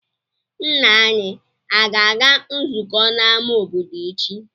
Nna anyị aga-aga nzukọ n'amá obodo echi?